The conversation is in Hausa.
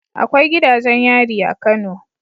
Akwai gidajen yari a kano